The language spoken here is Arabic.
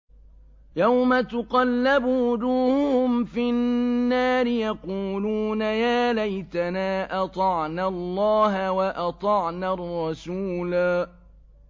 يَوْمَ تُقَلَّبُ وُجُوهُهُمْ فِي النَّارِ يَقُولُونَ يَا لَيْتَنَا أَطَعْنَا اللَّهَ وَأَطَعْنَا الرَّسُولَا